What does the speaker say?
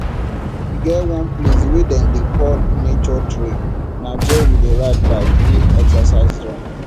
e get one place wey dem dey call nature trail na dia we dey ride bike do excercise join